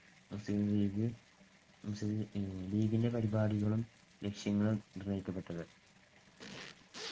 മുസ്ലീം ലീഗ്~ മുസ്ലീം ലീഗിന്‍ടെ പരിപാടികളും ലക്ഷ്യങ്ങളും നിർണ്ണയിക്കപ്പെട്ടത്.